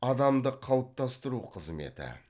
адамды калыптастыру қызметі